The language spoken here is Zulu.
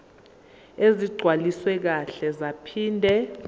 ezigcwaliswe kahle zaphinde